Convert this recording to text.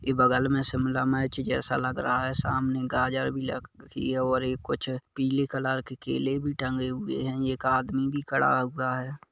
ये बगल में शिमला मिर्च जैसे लगा रहा है सामने गाजर भी की ये और ही कुछ पीले कलर की केले भी टंगे हुए हैं एक आदमी भी खड़ा हुआ है।